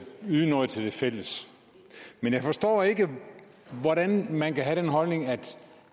yde noget til det fælles men jeg forstår ikke hvordan man kan have den holdning at